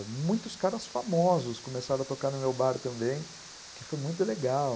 E muitos caras famosos começaram a tocar no meu bar também, que foi muito legal.